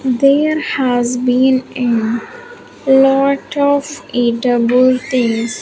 there has been a lot of eatable things.